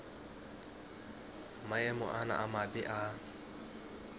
maemo ana a mabe a